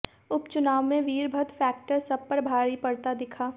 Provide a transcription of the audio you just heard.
उपचुनाव में वीरभद्र फैक्टर सब पर भारी पड़ता दिखा